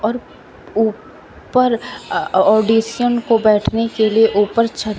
और ऊ पर ऑडिशन को बैठने के लिए ऊपर छत--